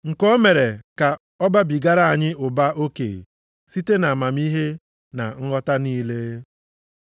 nke o mere ka ọ babigara anyị ụba oke site nʼamamihe na nghọta niile.